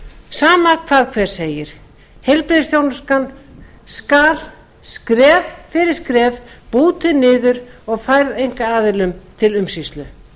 sama hvað hver segir heilbrigðisþjónustan skal skref fyrir skref bútuð niður og færð einkaaðilum til umsýslu